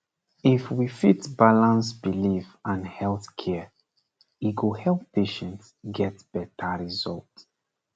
if we fit balance belief and health care e go help patient get better result